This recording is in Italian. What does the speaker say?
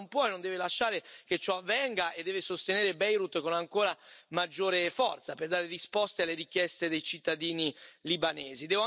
L'Europa non può e non deve lasciare che ciò avvenga e deve sostenere Beirut con ancora maggiore forza per dare risposte alle richieste dei cittadini libanesi.